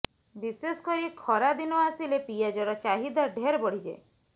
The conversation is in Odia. ବିଶେଷକରି ଖରା ଦିନ ଆସିଲେ ପିଆଜର ଚାହିଦା ଢେର ବଢିଯାଏ